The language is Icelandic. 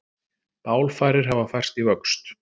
Bálfarir hafa færst í vöxt